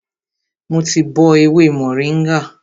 Mo ti bọ ewé mòríngà